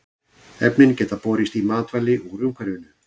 Efnin geta borist í matvæli úr umhverfinu.